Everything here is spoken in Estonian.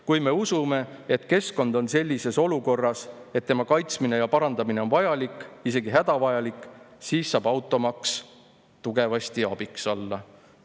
Kui me usume, et keskkond on sellises olukorras, et tema kaitsmine ja parandamine on vajalik, isegi hädavajalik, siis saab automaks tugevasti abiks olla.